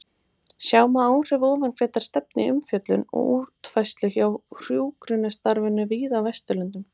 Sjá má áhrif ofangreindrar stefnu í umfjöllun og útfærslu á hjúkrunarstarfinu víða á Vesturlöndum.